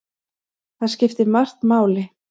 Þar skiptir margt máli.